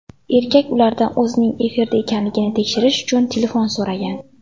Erkak ulardan o‘zining efirda ekanligini tekshirish uchun telefon so‘ragan.